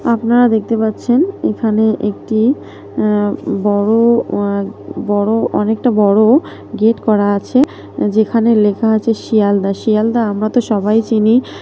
আপনারা দেখতে পাচ্ছেন এখানে একটি অ্যা বড় আ বড় অনেকটা বড়-ও গেট করা আছে। যেখানে লেখা আছে শিয়ালদা। শিয়ালদা আমরা তো সবাই চিনি ।